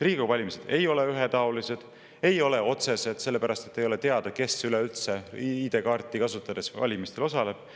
Riigikogu valimised ei ole ühetaolised ega otsesed, sellepärast et ei ole teada, kes üleüldse ID-kaarti kasutades valimistel osaleb.